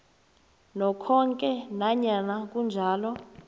nokhoke nanyana kunjalo